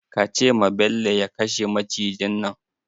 Ka ce ma Bello ya kashe macijin nan!